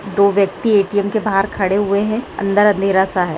दो व्यक्ति ए.टी.एम. के बाहर खड़े हुए है अंदर अंधेरा सा है।